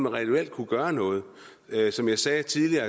reelt kunne gøre noget som jeg sagde tidligere